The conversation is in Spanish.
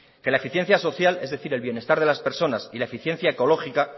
que la eficiencia social es decir el bienestar de las personas y la eficiencia ecológica